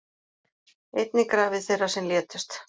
Einnig grafir þeirra sem létust